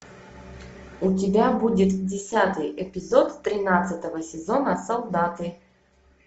у тебя будет десятый эпизод тринадцатого сезона солдаты